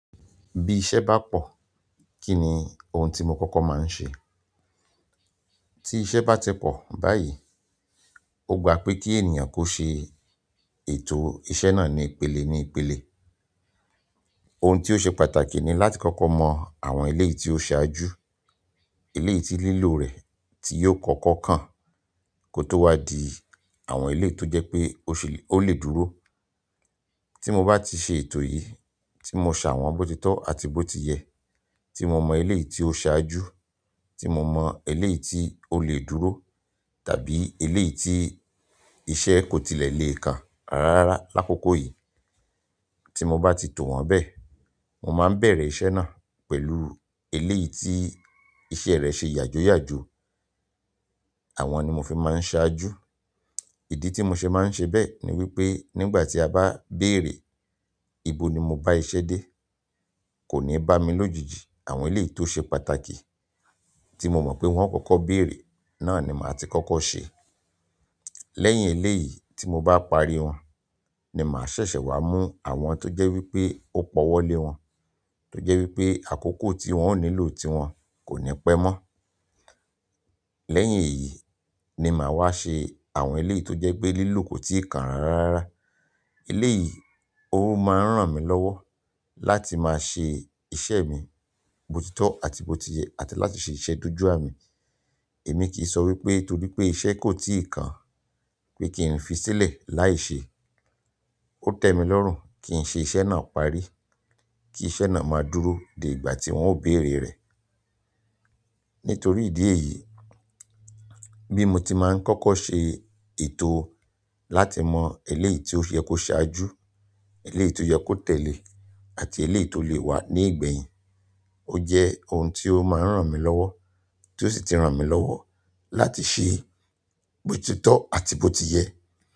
Bí iṣẹ́ bá pọ̀, kí ni ohun tí mo kọ́kọ́ máa ń ṣe? Tí iṣẹ́ bá ti pọ̀ báyìí, o gbà pé kí ènìyàn kó ṣe ètò iṣẹ́ náà ní ìpele ní ìpele. Ohun tí ó ṣe pàtàkì ni láti kọ́kọ́ mọ àwọn eléyi tí ó ṣiwàjú, eléyii tí lílò rẹ̀ tí yóò kọ́kọ́ kàn kó tó wá di àwọn eléyii tó jẹ́ pé ó lè dúró. Tí mo bá ti ṣe ètò yìí, tí mo ṣàwọn bòtítọ́ àti bó tiyẹ, tí mo mọ eléyi tí ó ṣiwàjú, tí mo mọ eléyi tí ó lè dúró tàbí eleyii tí iṣẹ́ kò tilẹ̀ le kàn rara l'akoko yìí, tí mo bá ti tò wọ́n bẹ́ẹ̀, mo máa bẹ̀rẹ̀ iṣẹ́ náà pẹ̀lú eleyii tí iṣẹ́ rẹ̀ ṣe yàjóyàjó. Àwọn ni mo fi máa ń ṣe àjú. Ìdí tí mo ṣe máa ń ṣe bẹ́ẹ̀ ni wípé nígbà tí a bá béèrè ìbò ni mo bá iṣẹ́ dé, kò ní bá mi lójijì. Àwọn eleyii to se pàtàkì ti mo mo pe won o koko beere, náà ni maa ti koko se. Lẹ́yìn eléyìí tí mo bá parí wọn ni màá ṣẹ̀ṣẹ̀ wá mú àwọn tó jẹ́ wípé ó pọ̀ wọlé wọn, tó jẹ́ wípé àkókò tí wọ́n ó nílò ti wọn kò ní pẹ́ mọ́. Lẹ́yìn èyí ni màá wá ṣe àwọn eléyii tó jẹ́ pé lílò kò tíi kàn rara rara. Eléyìí, ó máa ń ràn mí lọ́wọ́ láti máa ṣe iṣẹ́ mi bòtítọ́ àti bó tiyẹ àti láti ṣe iṣẹ́ dojú àmi. Èmi kìí sọ wípé torí pé iṣẹ́ kò tíì kàn pé kí ń fi sílẹ̀ láì ṣe. Ó tẹmi lọ́rùn kí n ṣe iṣẹ́ náà parí, kí iṣẹ́ náà máa dúró dé ìgbà tí wọn ó béèrè rẹ̀. Nítorí ìdí èyí, bí mo ti máa ń kọ́kọ́ ṣe ètò láti mọ eleyi tí ó yẹ kó ṣiwàjú, eleyii tí ó yẹ kó tẹ̀le àti eleyii tó lè wà ní ìgbẹ̀yìn, ó jẹ́ ohun tí ó máa ń ràn mí lọ́wọ́, tí ó sì ti ran mí lọ́wọ́ láti ṣe bòtítọ́ àti bó tiyẹ.